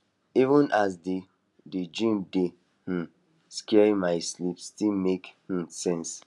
even as d d dream dey um scary my sleep still make um sense